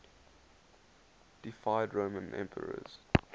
deified roman emperors